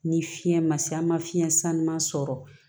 Ni fiɲɛ ma se an ma fiɲɛ san ma sɔrɔ